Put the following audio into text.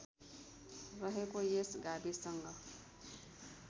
रहेको यस गाविससँग